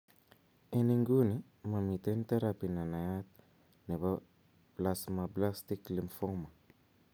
En inguni, momiten therapy nenayat nebo plasmablastic lymphoma.